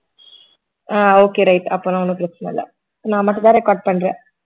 ஆஹ் okay right அப்பனா ஒன்னும் பிரச்சனை இல்லை நான் மட்டும்தான் record பண்றேன்